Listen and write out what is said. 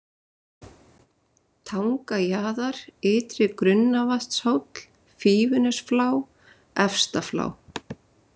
Tangajaðar, Ytri-Grunnavatnshóll, Fífunesflá, Efsta-Flá